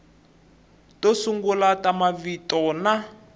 to sungula ta mavito na